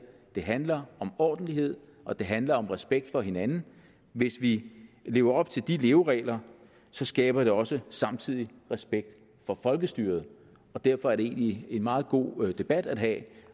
det handler om ordentlighed og det handler om respekt for hinanden hvis vi lever op til de leveregler så skaber det også samtidig respekt for folkestyret derfor er det egentlig en meget god debat at have